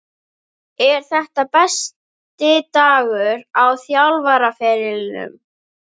Er þetta minn besti dagur á þjálfaraferlinum?